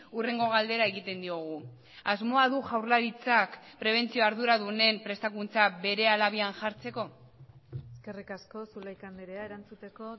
hurrengo galdera egiten diogu asmoa du jaurlaritzak prebentzio arduradunen prestakuntza berehala habian jartzeko eskerrik asko zulaika andrea erantzuteko